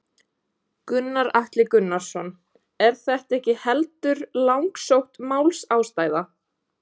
Gunnar Atli Gunnarsson: Er þetta ekki heldur langsótt málsástæða?